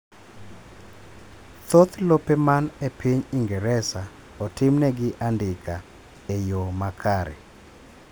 thoth lope man e piny ingereza otim negi andika e yoo makare